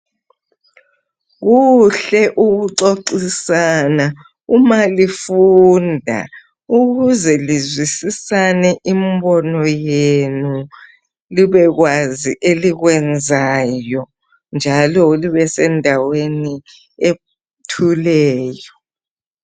Kuhle ukuxoxisana uma lifunda, ukuze lizwisisane imbono yenu libekwazi elikwenzayo, njalo libesendaweni ethuleyo.